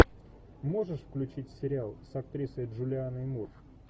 можешь включить сериал с актрисой джулианой мур